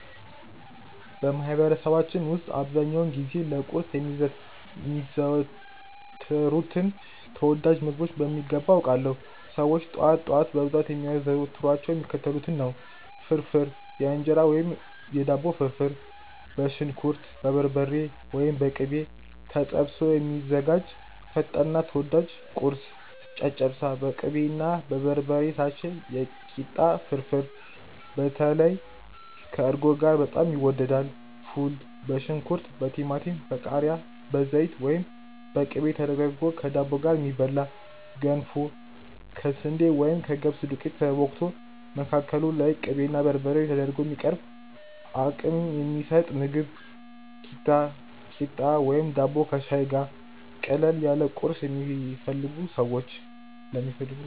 በማህበረሰባችን ውስጥ አብዛኛውን ጊዜ ለቁርስ የሚዘወተሩትን ተወዳጅ ምግቦች በሚገባ አውቃለሁ! ሰዎች ጠዋት ጠዋት በብዛት የሚያዘወትሯቸው የሚከተሉትን ነው፦ ፍርፍር (የእንጀራ ወይም የዳቦ ፍርፍር)፦ በሽንኩርት፣ በበርበሬ (ወይም በቅቤ) ተጠብሶ የሚዘጋጅ ፈጣንና ተወዳጅ ቁርስ። ጨጨብሳ፦ በቅቤና በበርበሬ የታሸ የኪታ ፍርፍር (በተለይ ከእርጎ ጋር በጣም ይወደዳል)። ፉል፦ በሽንኩርት፣ በቲማቲም፣ በቃሪያ፣ በዘይት ወይም በቅቤ ተደርጎ ከዳቦ ጋር የሚበላ። ገንፎ፦ ከስንዴ ወይም ከገብስ ዱቄት ተቦክቶ፣ መካከሉ ላይ ቅቤና በርበሬ ተደርጎ የሚቀርብ አቅም የሚሰጥ ምግብ። ኪታ፣ ቂጣ ወይም ዳቦ ከሻይ ጋር፦ ቀለል ያለ ቁርስ ለሚፈልጉ ሰዎች።